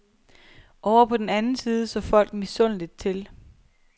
Ovre på den anden side så folk misundeligt til.